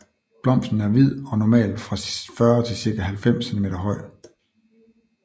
Blomsten er hvid og normalt fra fra 40 til cirka 90 cm høj